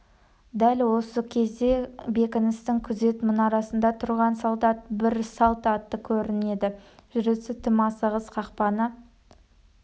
дәл осы кезде бекіністің күзет мұнарасында тұрған солдат бір салт атты көрінеді жүрісі тым асығыс қақпаны